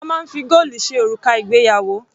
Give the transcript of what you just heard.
A máa ń fi góòlù ṣe òrùka ìgbéyàwó.